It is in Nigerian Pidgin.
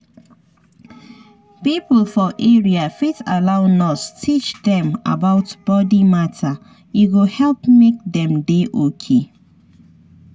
people for area fit allow nurse teach dem about body matter e go help make dem dey okay.